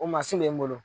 O mansin bɛ n bolo